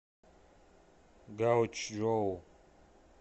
гаочжоу